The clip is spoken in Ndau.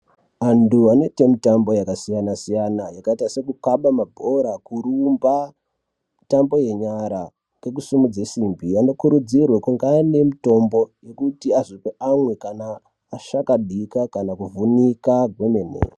Antu anoite mitambo yakasiyana-siyana ,yakaita sekukhaba mabhora, kurumba, mitambo yenyara kokusimudze simbi, anokurudzirwe kunga aine mitombo yekuti azo amwe kana ashakadika kana kuvhunika kwemene.